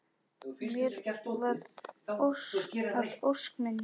Mér varð að ósk minni.